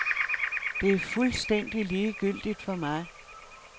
Det er fuldstændig ligegyldigt for mig.